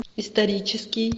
исторический